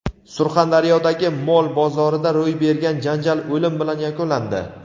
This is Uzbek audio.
Surxondaryodagi mol bozorida ro‘y bergan janjal o‘lim bilan yakunlandi.